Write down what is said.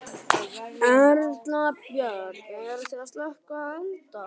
Erla Björg: Eruð þið að slökkva elda?